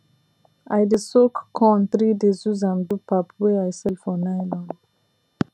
i dey soak corn 3 days use am do pap wey i sell for nylon